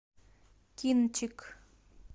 кинчик